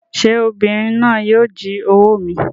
Sé obìnrin náà yíì o jí owó mi